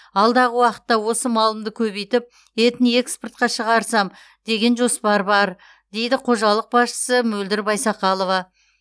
алдағы уақытта осы малымды көбейтіп етін экспортқа шығарсам деген жоспар бар дейді қожалық басшысы мөлдір байсақалова